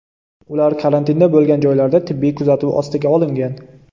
Ular karantinda bo‘lgan joylarida tibbiy kuzatuv ostiga olingan.